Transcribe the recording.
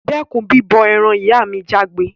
Dẹ́kun bíbọ eran! ìyá mi jágbé